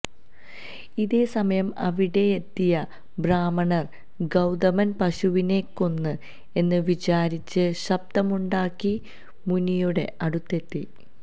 ഇതേ സമയം അവിടെയെത്തിയ ബ്രാഹ്മണര് ഗൌതമന് പശുവിനെകൊന്നു എന്ന് വിചാരിച്ച് ശബ്ദമുണ്ടാക്കി മുനിയുടെ അടുത്തെത്തി